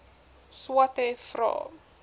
swathe vra